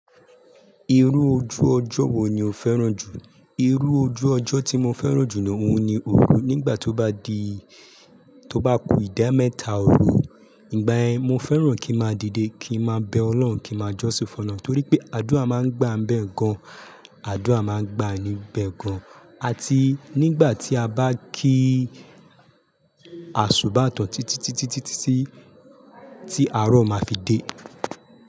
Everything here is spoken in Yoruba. Irú ojú ọjọ́ wo ni o fẹ́ràn jù? Irú ojú ọjọ́ tí mo fẹ́ràn jù ni òun ni òru. Nígbà tó bá di, tó bá ku ìdá mẹ́ta òru. Ígbà ye mo fẹ́ràn kí máa dìde, kí máa bẹ Ọlọ́un, kí máa jọ́ṣi fọ́loun torí pé àdúrà máa ń gba ń bẹ gan. Àdúrà máa ń gba níbẹ̀ gan. Àti nígbà tí a bá kí àṣubàtọ̀ títítítítí tí àrọ̀ máa fi dé.